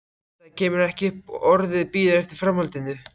Edda kemur ekki upp orði, bíður eftir framhaldinu.